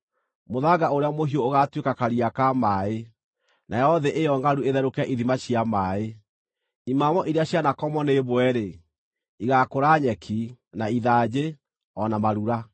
Mũthanga ũrĩa mũhiũ ũgaatuĩka karia ka maaĩ, nayo thĩ ĩyo ngʼaru ĩtherũke ithima cia maaĩ. Imamo iria cianakomwo nĩ mbwe-rĩ, igaakũra nyeki, na ithanjĩ, o na marura.